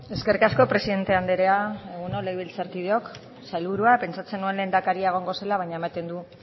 eskerrik asko presidente andrea egun on legebiltzarkideok sailburua pentsatzen nuen lehendakaria egongo zela baina ematen du